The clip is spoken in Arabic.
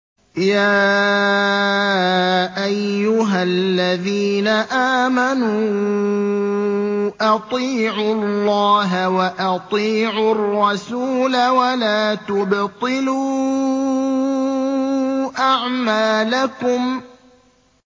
۞ يَا أَيُّهَا الَّذِينَ آمَنُوا أَطِيعُوا اللَّهَ وَأَطِيعُوا الرَّسُولَ وَلَا تُبْطِلُوا أَعْمَالَكُمْ